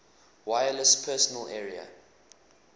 wireless personal area